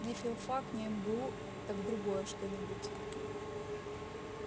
не филфак не мгу так другое что-нибудь